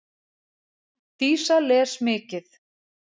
Dísa les mikið.